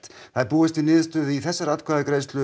það er búist við niðurstöðu í þessari atkvæðagreiðslu